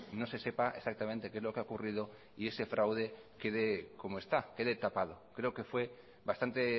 no se sepa exactamente qué es lo que ha ocurrido y ese fraude quede como está quede tapado creo que fue bastante